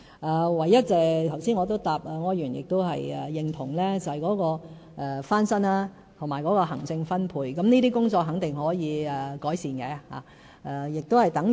就柯議員剛才所說，我認同有單位翻新和分配的行政問題，但這些工作肯定是可以改善的。